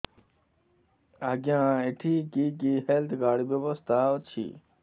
ଆଜ୍ଞା ଏଠି କି କି ହେଲ୍ଥ କାର୍ଡ ବ୍ୟବସ୍ଥା ଅଛି